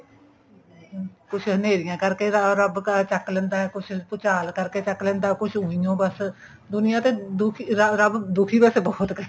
ਹੁਣ ਕੁੱਝ ਹਨੇਰੀਆਂ ਕਰਕੇ ਏੱਬ ਅਹ ਚੱਕ ਲੈਂਦਾ ਕੁੱਝ ਭੂਚਾਲ ਕਰਕੇ ਚੱਕ ਲੈਂਦਾ ਕੁੱਝ ਊਈ ਓ ਬੱਸ ਦੁਨੀਆ ਤੇ ਦੁਖੀ ਰੱਬ ਦੁਖੀ ਵੈਸੇ ਬਹੁਤ ਕਰਦਾ